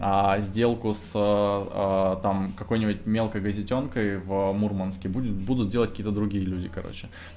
а сделку с а там какой-нибудь мелкой газетёнкой в мурманске будет будут делать какие-то другие люди короче